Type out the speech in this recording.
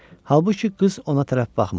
Halbuki qız ona tərəf baxmırdı.